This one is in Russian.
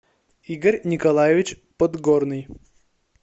игорь николаевич подгорный